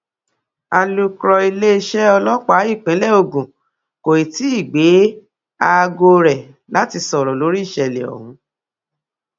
alūkrọ iléeṣẹ ọlọpàá ìpínlẹ ogun kò tí ì gbé aago rẹ láti sọrọ lórí ìṣẹlẹ ọhún